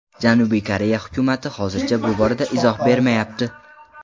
Janubiy Koreya hukumati hozircha bu borada izoh bermayapti.